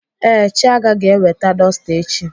Ee, Chiaga ga-eweta dọsta echi.